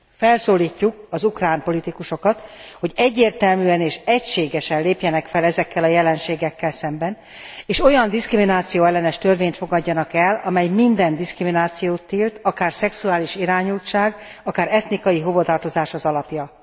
Felszólítjuk az ukrán politikusokat, hogy egyértelműen és egységesen lépjenek fel ezekkel a jelenségekkel szemben, és olyan diszkrimináció ellenes törvényt fogadjanak el, amely minden diszkriminációt tilt akár szexuális irányultság, akár etnikai hovatartozás az alapja.